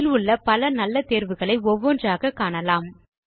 இதில் உள்ள பல நல்ல தேர்வுகளை ஒவ்வொன்றாக காணலாம்